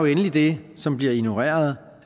endelig det som bliver ignoreret